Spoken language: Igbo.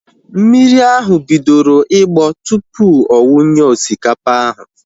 Mmiri ahu bidoro ịgbọ tupu ọ wunye osikapa ahu